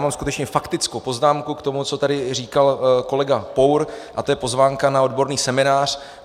Mám skutečně faktickou poznámku k tomu, co tady říkal kolega Pour, a to je pozvánka na odborný seminář.